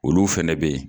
Olu fɛnɛ be yen